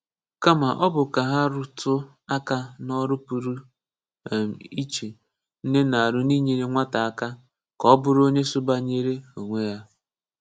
Kàmá ọ bụ́ ka ha rùtù́ aka n’ọrụ̀ pụrụ um iche nne na-árụ n’inyere nwátá aka ka ọ bùrù onye sɔ́bányèrè onwe ya.